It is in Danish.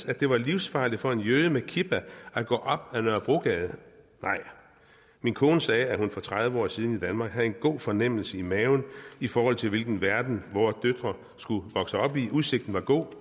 at det var livsfarligt for en jøde med kipa at gå op ad nørrebrogade nej min kone sagde at hun for tredive år siden i danmark havde en god fornemmelse i maven i forhold til hvilken verden vore døtre skulle vokse op i udsigten var god